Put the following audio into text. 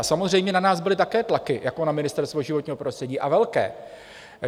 A samozřejmě na nás byly také tlaky jako na Ministerstvo životního prostředí, a velké.